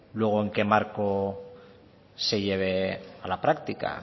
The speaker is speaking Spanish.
luego en qué marco se lleve a la práctica